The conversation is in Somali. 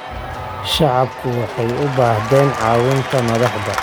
Shacabku waxay u baahdeen caawinta madaxda.